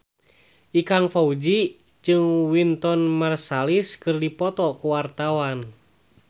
Ikang Fawzi jeung Wynton Marsalis keur dipoto ku wartawan